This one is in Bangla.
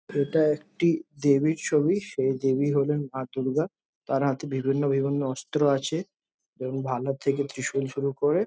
এটা একটি দেবীর ছবি সেই দেবী হলেন মা দূর্গা তার হাতে বিভিন্ন বিভিন্ন অস্ত্র আছে এবং ভালোর থেকে ত্রিশুল শুরু করে।